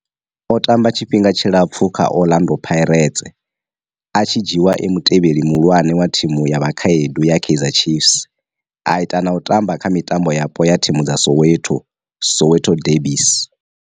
O tamba tshifhinga tshilapfhu kha Orlando Pirates, a tshi dzhiiwa e mutevheli muhulwane wa thimu ya vhakhaedu ya Kaizer Chiefs, a ita na u tamba kha mitambo yapo ya thimu dza Soweto, Soweto derbies.